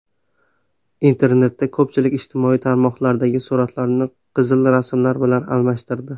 Internetda ko‘pchilik ijtimoiy tarmoqlardagi suratlarini qizil rasmlar bilan almashtirdi.